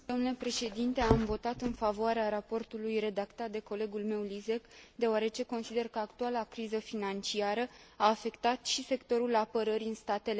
Am votat în favoarea raportului redactat de colegul meu Lisek, deoarece consider că actuala criză financiară a afectat și sectorul apărării în statele membre.